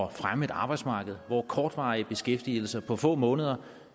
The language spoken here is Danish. at fremme et arbejdsmarked hvor kortvarig beskæftigelse på få måneder